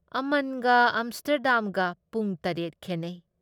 ꯑꯃꯟꯒ ꯑꯝꯁꯇꯔꯗꯝꯒ ꯄꯨꯡ ꯇꯔꯦꯠ ꯈꯦꯟꯅꯩ ꯫